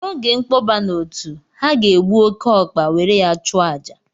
N'oge nkpọba na otu ha ga-egbu oke ọkpa were ya chụọ àjà